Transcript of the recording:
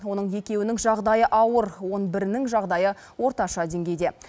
оның екеуінің жағдайы ауыр он бірінің жағдайы орташа деңгейде